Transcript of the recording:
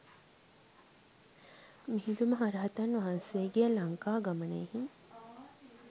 මිහිඳු මහ රහතන් වහන්සේගේ ලංකා ගමනයෙහි